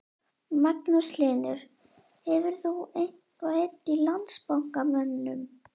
Magnús Hlynur: Hefur þú eitthvað heyrt í Landsbankamönnum?